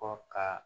Kɔ ka